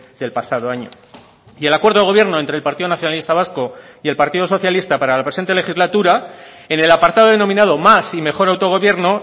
del pasado año y el acuerdo de gobierno entre el partido nacionalista vasco y el partido socialista para la presente legislatura en el apartado denominado más y mejor autogobierno